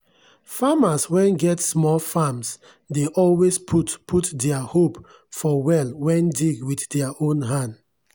farmers wen get small farms dey always put put dier hope for well wen dig wit dier own hand.